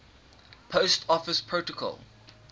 post office protocol